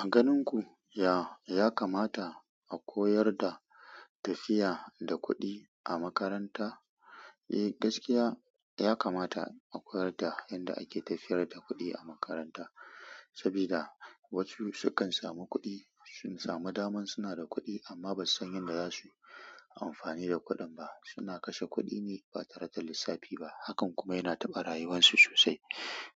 A ganin ku, ya, ya kamata a koyar da tafiya da kuɗi a makaranta? Eh, gaskiya ya kamata a koyar da yadda ake tafiyar da kuɗi a makaranta. Saboda wasu sukan samu kuɗi, sun samu daman suna da kuɗi amma ba su san yadda za su amfani da kuɗin ba. Suna kashe kuɗi ne ba tare da lissafi ba. Hakan kuma yana taɓa rayuwarsu sosai.